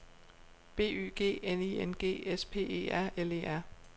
B Y G N I N G S P E R L E R